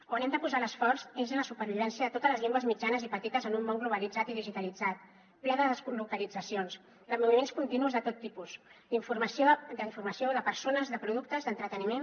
on hem de posar l’esforç és en la supervivència de totes les llengües mitjanes i petites en un món globalitzat i digitalitzat ple de deslocalitzacions de moviments continus de tot tipus d’informació de persones de productes d’entreteniment